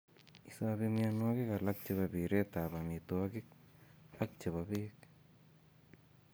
Isobe mianwokik alak chebo pireet ab omitwogik ak chebo beek